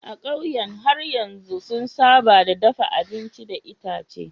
A ƙauyen har yanzu sun saba da dafa abinci da itace.